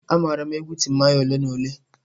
Amaara m egwu Timaya ole na ole.